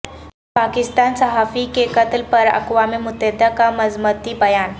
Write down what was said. پاکستان صحافی کے قتل پر اقوام متحدہ کا مذمتی بیان